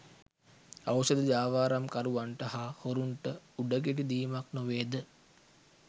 ඖෂධ ජාවාරම්කරුවන්ට හා හොරුන්ට උඩගෙඩි දීමක් නොවේද?